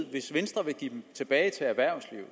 at hvis venstre vil give dem tilbage til erhvervslivet